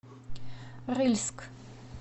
рыльск